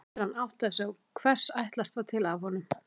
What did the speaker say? Eftir að hann áttaði sig á hvers ætlast var til af honum.